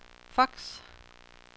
fax